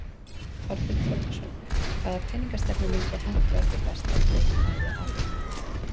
Þorbjörn Þórðarson: Hvaða peningastefna myndi henta okkur best eftir að við afléttum höftunum?